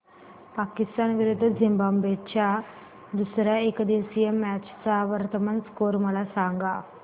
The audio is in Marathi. पाकिस्तान विरुद्ध झिम्बाब्वे च्या दुसर्या एकदिवसीय मॅच चा वर्तमान स्कोर मला सांगा